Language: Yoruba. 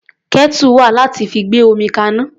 Kẹ́tù wà láti fi gbé omi kaná.